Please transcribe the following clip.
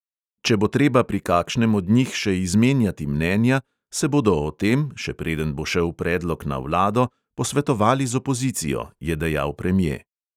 Če bo treba pri kakšnem od njih še izmenjati mnenja, se bodo o tem, še preden bo šel predlog na vlado, posvetovali z opozicijo, je dejal premje.